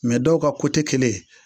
Mɛ dɔw ka kotɛ kelen